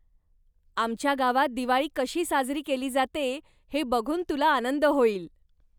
आमच्या गावात दिवाळी कशी साजरी केली जाते हे बघून तुला आनंद होईल.